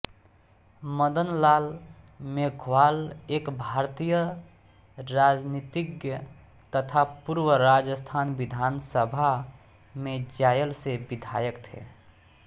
मदनलाल मेघवाल एक भारतीय राजनीतिज्ञ तथा पूर्व राजस्थान विधानसभा में जायल से विधायक थे